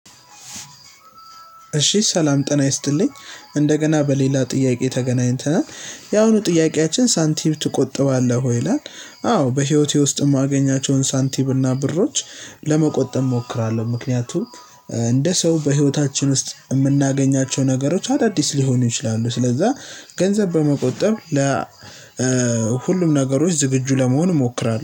እሺ ሰላም ጤና ይስጥልኝ እንደገና በሌላ ጥያቄ ተገናኝተናል ያሁኑ ጥያቄያችን ሳንቲም ትቆጥባለህ ወይ ይላል? አዎ በህይወቴ ውስጥ እማገኛቸውን ሳንቲም እና ብሮች ለመቆጠብ እሞክራለሁ። ምክንያቱም እንደ ሰው በህይወታችን ውስጥ እምናገኛቸው ነገሮች አዳዲስ ሊሆኑ ይችላሉ። ስለዛ ገንዘብ በመቆጠብ ለ ሁሉም ነገሮች ዝግጁ ለመሆን እሞክራለሁ